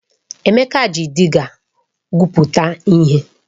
Emeka ji dịga gwuputa ihe.